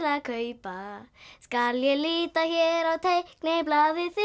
að kaupa skal ég lita hér á teikniblaðið